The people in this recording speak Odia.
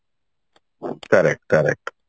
correct correct